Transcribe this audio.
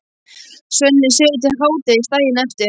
Svenni sefur til hádegis daginn eftir.